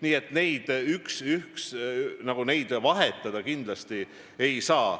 Nii et neid asju omavahel vahetada kindlasti ei saa.